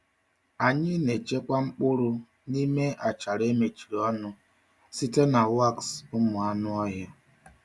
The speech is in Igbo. Anyị na-echekwa mkpụrụ n’ime achara e mechiri ọnụ site na waksị ụmụ anụ ọhịa.